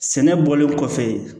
Sɛnɛ bɔlen kɔfɛ